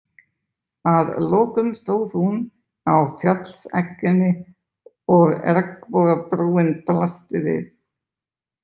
Að lokum stóð hún á fjallsegginni og regnbogabrúin blasti við.